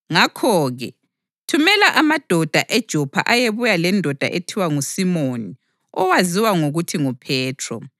Ngakho-ke, thumela amadoda eJopha ayebuya lendoda ethiwa nguSimoni owaziwa ngokuthi nguPhethro.